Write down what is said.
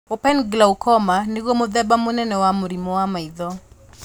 Open glaucoma nĩguo mũthema mũnene wa mũrimũ wa maitho